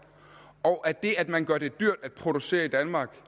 og at det at man gør det dyrt at producere i danmark for